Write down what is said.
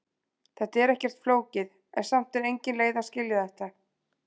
Þetta er ekkert flókið, en samt engin leið að skilja þetta.